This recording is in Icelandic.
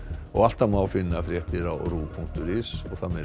og alltaf má finna fréttir á punktur is